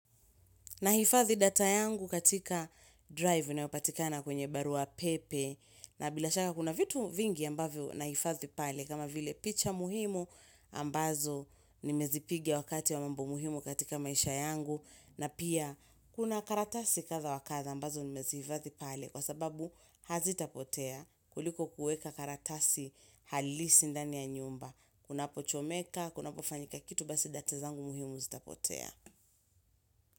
Nahifadhi data yangu katika drive inayopatikana kwenye barua pepe na bila shaka kuna vitu vingi ambavyo nahifadhi pale kama vile picha muhimu ambazo nimezipiga wakati wa mambo muhimu katika maisha yangu na pia kuna karatasi kadha wa kadha ambazo nimezihifadhi pale kwa sababu hazitapotea kuliko kuweka karatasi halisi ndani ya nyumba. Kunapochomeka, kunapofanyika kitu basi data zangu muhimu zitapotea.